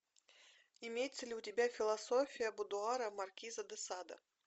имеется ли у тебя философия будуара маркиза де сада